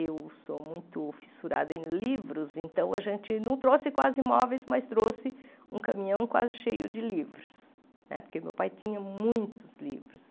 Eu sou muito fissurada em livros, então a gente não trouxe quase imóveis, mas trouxe um caminhão quase cheio de livros né, porque meu pai tinha muitos livros.